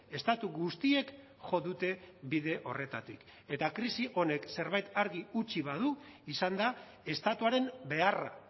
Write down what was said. estatu guztiek jo dute bide horretatik eta krisi honek zerbait argi utzi badu izan da estatuaren beharra